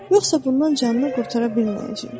Yoxsa bundan canını qurtara bilməyəcək.